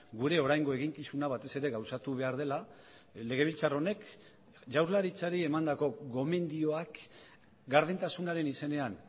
gure oraingo eginkizuna batez ere gauzatu behar dela legebiltzar honek jaurlaritzari emandako gomendioak gardentasunaren izenean